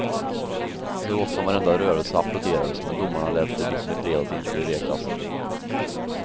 Så gott som varenda rörelse applåderades men domarna lät sig liksom i fredags inte bevekas.